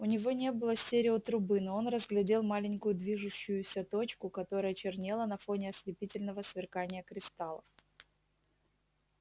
у него не было стереотрубы но он разглядел маленькую движущуюся точку которая чернела на фоне ослепительного сверкания кристаллов